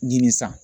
Ɲi san